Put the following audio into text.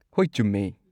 ꯍꯣꯏ, ꯆꯨꯝꯃꯦ꯫